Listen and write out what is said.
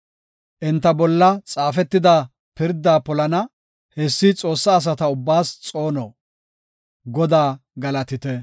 Enta bolla xaafetida pirdaa polana; Hessi Xoossaa asata ubbaas xoono. Godaa galatite!